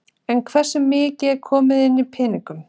En hversu mikið er komið inn í peningum?